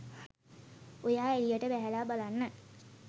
ඔයා එළියට බැහැලා බලන්න